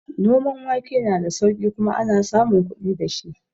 Noman wake na da sauƙi kuma ana samun kuɗi dashi